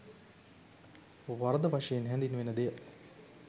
වරද වශයෙන් හැඳින්වෙන දෙය